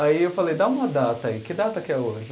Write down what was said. Aí eu falei, dá uma data aí, que data que é hoje?